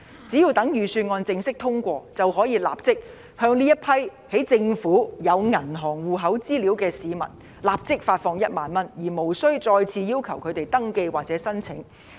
只待預算案正式通過，便可以向這些在政府有銀行戶口資料的市民立即發放1萬元，而無須再次要求他們登記或申請。